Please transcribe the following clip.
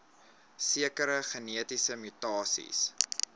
sekere genetiese mutasies